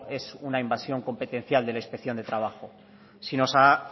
es una invasión competencial de la inspección de trabajo si nos